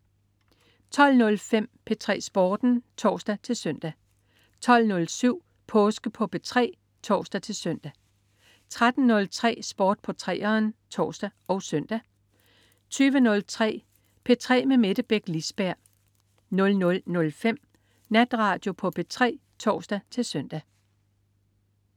12.05 P3 Sporten (tors-søn) 12.07 Påske på P3 (tors-søn) 13.03 Sport på 3'eren (tors og søn) 20.03 P3 med Mette Beck Lisberg 00.05 Natradio på P3 (tors-søn)